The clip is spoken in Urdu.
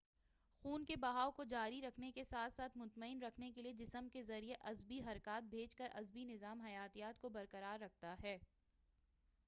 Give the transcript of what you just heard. خون کے بہاؤ کو جاری رکھنے کے ساتھ-ساتھ مطمئن رکھنے کیلئے جسم کے ذریعہ عصبی حرکات بھیج کر عصبی نظام حیاتیات کو برقرار رکھتا ہے